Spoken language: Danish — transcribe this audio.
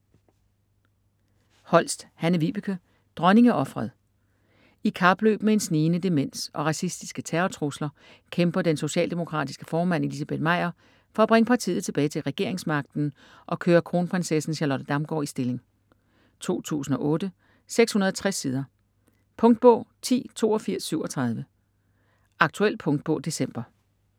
Holst, Hanne-Vibeke: Dronningeofret I kapløb med en snigende demens og racistiske terrortrusler kæmper den socialdemokratiske formand Elizabeth Meyer for at bringe partiet tilbage til regeringsmagten og køre kronprinsessen Charlotte Damgaard i stilling. 2008, 660 sider. Punktbog 108237 Aktuel punktbog december